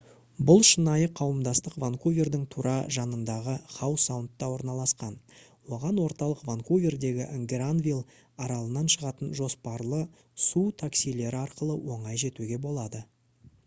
бұл шынайы қауымдастық ванкувердің тура жанындағы хау саундта орналасқан оған орталық ванкувердегі гранвилл аралынан шығатын жоспарлы су таксилері арқылы оңай жетуге болады